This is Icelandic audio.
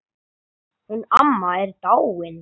Hún amma er dáin.